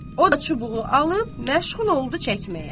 O da çubuğu alıb məşğul oldu çəkməyə.